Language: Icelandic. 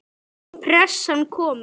Pressan komin.